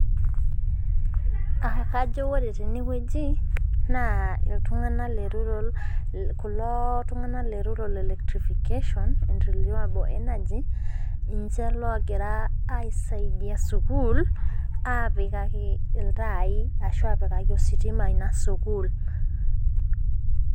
Kajo ore tenewuji naa iltunganak le rural kuloo tunganak le rural electrification and renewable energy ninche oogira aisaidia sukuul aapikaki iltaai ashua apikaki ositima ina sukuul